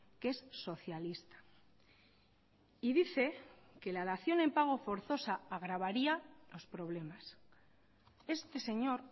que es socialista y dice que la dación en pago forzosa agravaría los problemas este señor